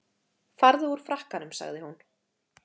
Farðu úr frakkanum sagði hún.